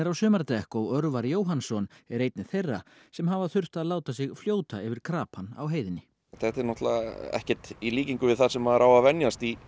sumardekk og Örvar Jóhannsson er einn þeirra sem hafa þurft að láta sig fljóta yfir krapann á heiðinni þetta er náttúrulega ekkert í líkingu við það sem maður á að venjast í